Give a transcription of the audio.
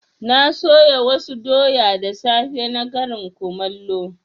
Na soya wasu doya da safe na karin kumallo.